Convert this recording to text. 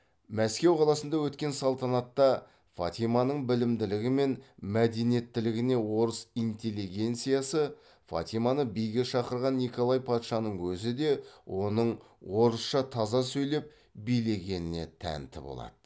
мәскеу қаласында өткен салтанатта фатиманың білімділігі мен мәдениеттілігіне орыс интеллигенциясы фатиманы биге шақырған николай патшаның өзі де оның орысша таза сөйлеп билегеніне тәнті болады